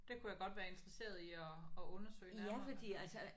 Det kunne jeg godt være interesseret i at at undersøge nærmere